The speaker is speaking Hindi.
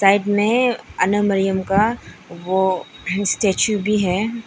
साइड में आलम मरियम का वो स्टैचू भी है।